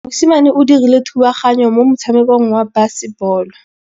Mosimane o dirile thubaganyô mo motshamekong wa basebôlô.